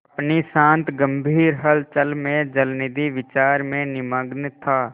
अपनी शांत गंभीर हलचल में जलनिधि विचार में निमग्न था